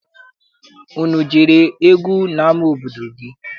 Unu ejere egwu n'ama obodo gị?